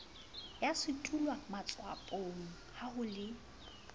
ya sedulwamatswapong ha ho le